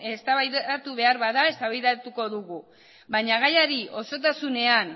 eztabaidatu behar bada eztabaidatuko dugu baina gaiari osotasunean